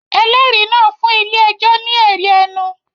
Ẹlẹ́rìí náà fún ilé-ẹjọ́ ní ẹ̀rí ẹnu